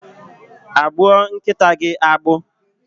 Agbụọ nkịta gị agbụ?